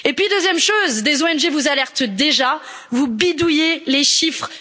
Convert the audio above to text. Deuxième chose, des ONG vous alertent déjà, mais vous bidouillez les chiffres.